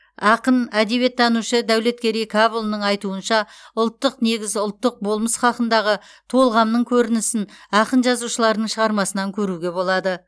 ақын әдебиеттанушы дәулеткерей кәпұлының айтуынша ұлттық негіз ұлттық болмыс хақындағы толғамның көрінісін ақын жазушылардың шығармасынан керуге болады